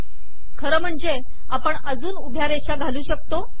खरे म्हणजे आपण अजून उभ्या रेषा घालू शकतो